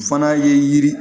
O fana ye yiri